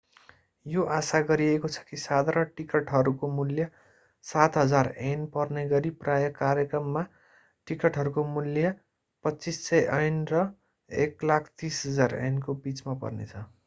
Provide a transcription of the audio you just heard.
यो आशा गरिएको छ कि साधारण टिकटहरूको मूल्य ¥7,000 पर्नेगरि प्रायः कार्यक्रमका टिकटहरूको मूल्य ¥2,500 र ¥130,000 को बिचमा पर्नेछ